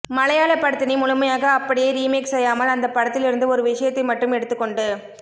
மலையாளப் படத்தினை முழுமையாக அப்படியே ரீமேக் செய்யாமல் அந்தப்படத்திலிருந்து ஒரு விஷயத்தை மட்டும் எடுத்துக் கொண்டு